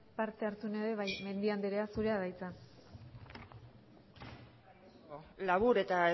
parte hartu nahi du bai mendia andrea zurea da hitza eskerrik asko labur eta